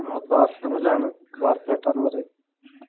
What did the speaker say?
ഞമ്മള് ഫാസ്റ്റ് എന്ന് പറയും